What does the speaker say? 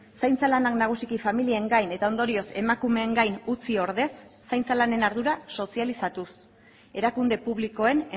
zaintza lanak nagusiki familien gain eta ondorioz emakumeen gain utzi ordez zaintza lanen ardura sozializatuz erakunde publikoen